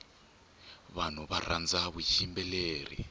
vanhu varhandza vuyimbeleri